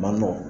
Man nɔgɔn